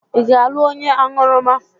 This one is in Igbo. Ị ga-alụ onye aṅụrụma?